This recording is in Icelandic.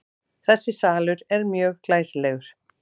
Þessi salur er mjög glæsilegur.